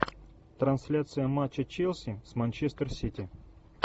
трансляция матча челси с манчестер сити